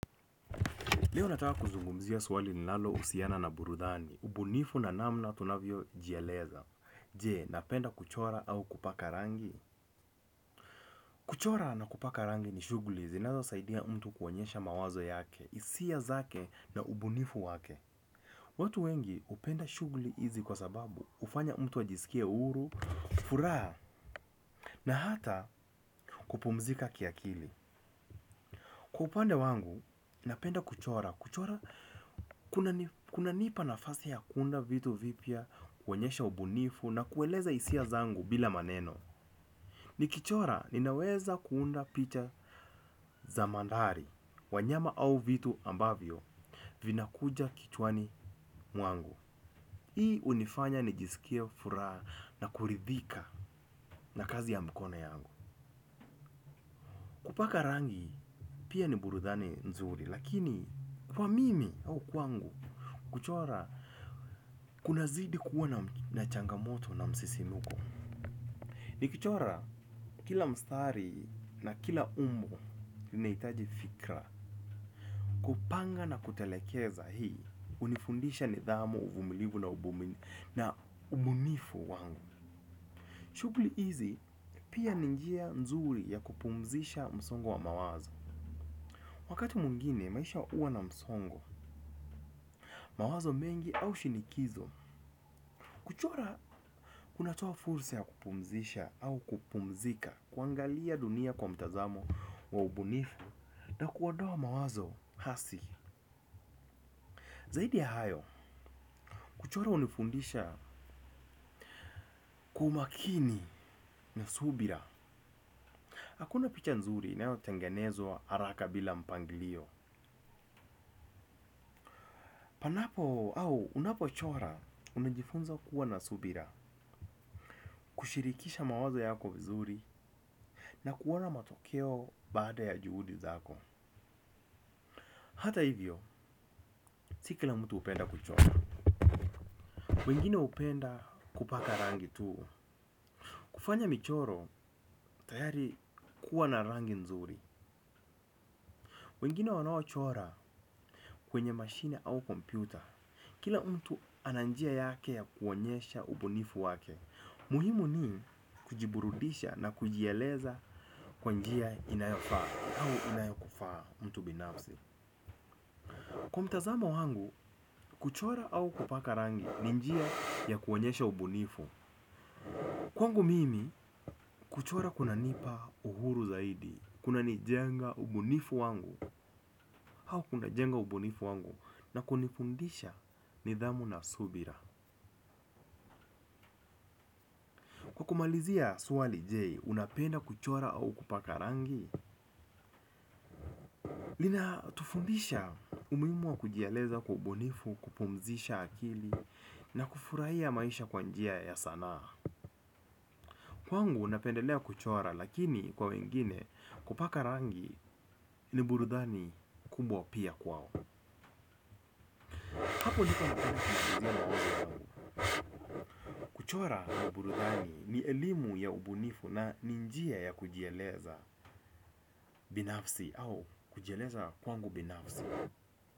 Leo nataka kuzungumzia swali lilalo husiana na burudani. Ubunifu na namna tunavyojieleza. Je, napenda kuchora au kupaka rangi. Kuchora na kupaka rangi ni shughuli. Zinazo saidia mtu kuonyesha mawazo yake. Hisia zake na ubunifu wake. Watu wengi hupenda shughuli hizi kwa sababu. Huanya mtu ajisikie huru, furaha na hata kupumzika kiakili. Kwa upande wangu, napenda kuchora. Kuchora, kuna nipa nafasi ya kuunda vituvipyaa kuonyesha ubunifu na kueleza hisia zangu bila maneno. Nikichora, ninaweza kuunda pita za mandhari, wanyama au vitu ambavyo, vinakuja kichwani mwangu. Hii hunifanya ni jisikie furaha na kuridhika na kazi ya mkono yangu. Kupaka rangi, pia ni burudhani nzuri, lakini kwa mimi au kwangu. Kuchora, kuna zidi kuwa na changa moto na msisimuko. Ni kuchora, kila mstari na kila umbo nahitaji fikra. Kupanga na kutelekeza hii hunifundisha nidhamu, uvumilivu na ubunifu na ubunifu wangu. Shughuli hizi, pia ni njia nzuri ya kupumzisha msongo wa mawazo. Wakati mwingine, maisha huwa na msongo. Mawazo mengi au shinikizo. Unatoa fursa ya kupumzisha au kupumzika kuangalia dunia kwa mtazamo wa ubunifu na kuondoa mawazo hasi. Zaidi ya hayo, kuchora hunifundisha umakini na subira. Hakuna picha nzuri inayo tengenezwa haraka bila mpangilio. Unapo au unapo chora unajifunza kuwa na subira kushirikisha mawazo yako vizuri na kuona matokeo baada ya juhudi zako. Hata hivyo, si kila mtu hupenda kuchora. Wengine hupenda kupaka rangi tu. Kufanya michoro, tayari kuwa na rangi nzuri. Wengine wanao chora kwenye mashine au kompyuta. Kila mtu ana njia yake ya kuonyesha ubunifu wake. Muhimu ni kujiburudisha na kujieleza kwa njia inayofaa au inayokufaa mtu binafsi kwa mtazamo wangu kuchora au kupaka rangi ni njia ya kuonyesha ubunifu. Kwangu mimi, kuchora kuna nipa uhuru zaidi, kuna nijenga ubunifu wangu, au kuna jenga ubunifu wangu, na kunifundisha nidhamu na subira. Kumalizia swali je unapenda kuchora au kupaka rangi. Lina tufundisha umuhimu wa kujieleza kwa kubunifu, kupumzisha akili, na kufurahia maisha kwa njia ya sanaa. Kwangu napendelea kuchora lakini kwa wengine kupaka rangi ni burudani kubwa pia kwao. Kuchora ni burudani ni elimu ya ubunifu na ni njia ya kujieleza binafsi au kujieleza kwangu binafsi.